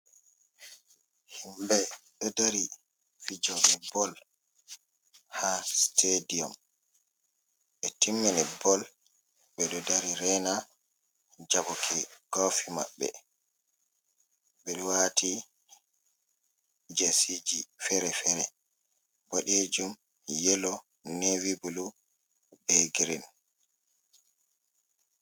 Himɓe ɗo dari fijoɓe bol ha sitadi um, e timmini bol ɓeɗo dari rena jabɓuki kofi maɓɓe, ɓeɗo wati jesiji fere-fere, boɗejum, yelo, nevi bulu, be girin.